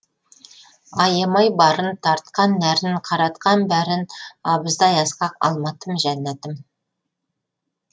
аямай барын тартқан нәрін қаратқан бәрін абыздай асқақ алматым жәннатым